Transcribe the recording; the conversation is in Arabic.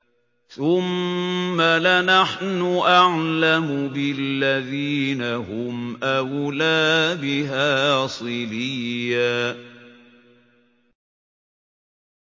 ثُمَّ لَنَحْنُ أَعْلَمُ بِالَّذِينَ هُمْ أَوْلَىٰ بِهَا صِلِيًّا